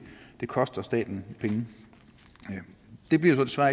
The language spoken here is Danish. koster staten penge det bliver jo så